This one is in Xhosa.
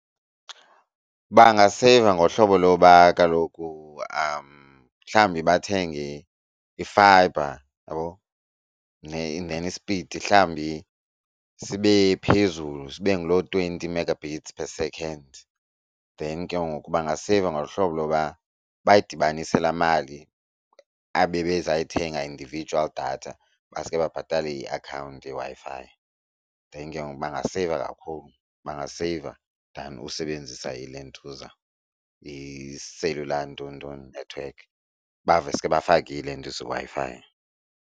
Bangaseyiva ngohlobo loba kaloku mhlawumbi bathenge i-fibre, uyabo, and then ispidi mhlawumbi sibe phezulu sibe ngulo twenty mega bites per second. Then ke ngoku bangaseyiva ngohlobo loba bayidibanise laa mali abebezayithenga individual data baske babhatale iakhawunti yeWi-Fi. Then ngoku bangaseyiva kakhulu bangaseyiva than usebenzisa iilentuza iselula nton nton nethiwekhi baveske bafake iWi-Fi.